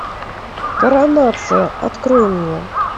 коронация открой мне